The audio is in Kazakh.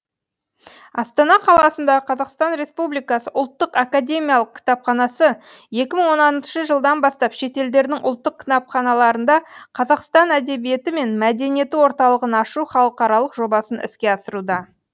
астана қаласында қазақстан республикасы ұлттық академиялық кітапханасы екі мың оныншы жылдан бастап шетелдердің ұлттық кітапханаларында қазақстан әдебиеті мен мәдениеті орталығын ашу халықаралық жобасын іске асыруда